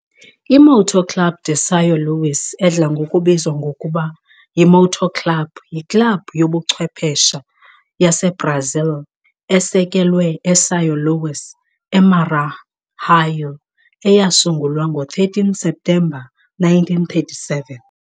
I-Moto Club de São Luís, edla ngokubizwa ngokuba yi-Moto Club, yiklabhu yobuchwephesha yaseBrazil esekelwe eSão Luís, eMaranhão eyasungulwa ngo-13 Septemba 1937.